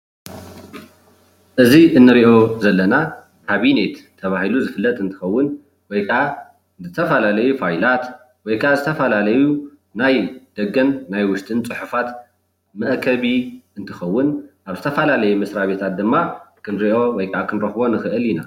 እዚ እንሪኦ ዘለና ካብኔት ተባሂሉ ዝፍለጥ እንትከውን ወይ ከዓ ዝተፈላለዩ ፋይላት ወይ ከዓ ዝተፈላለዩ ናይ ደገን ናይ ውሽጥን ፅሑፋት መአከቢ እንትከውን ኣብ ዝተፈላለየ መስራቤታት ድማ ክንሪኦ ወይከዓ ክንረክቦ ንክእል ኢና፡፡